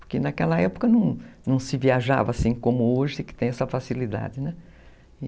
Porque naquela época não se viajava assim como hoje, que tem essa facilidade, né?